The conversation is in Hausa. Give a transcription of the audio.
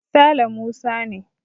Sale Musa ne.